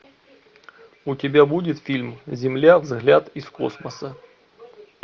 у тебя будет фильм земля взгляд из космоса